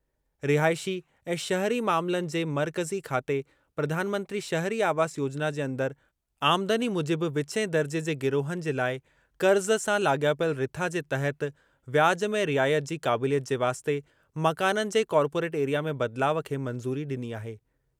रिहाइशी ऐं शहरी मामलनि जे मर्कज़ी खाते प्रधानमंत्री शहरी आवास योजना जे अंदरि आमदनी मूजिबि विचें दर्जे जे गिरोहनि जे लाइ क़र्ज़ सां लाॻापियल रिथा जे तहत व्याज में रियायत जी क़ाबिलियत जे वास्ते मकाननि जे कॉर्पोरेट एरिया में बदिलाउ खे मंज़ूरी डि॒नी आहे।